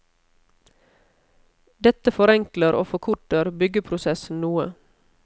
Dette forenkler og forkorter byggeprosessen noe.